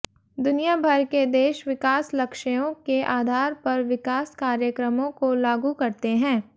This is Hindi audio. दुनिया भर के देश विकास लक्ष्यों के आधार पर विकास कार्यक्रमों को लागू करते हैं